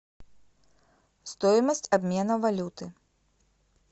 стоимость обмена валюты